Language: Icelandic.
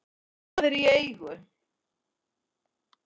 en það er í eigu